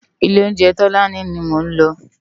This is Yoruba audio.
Ilé óunjé Tolani ni mó n lò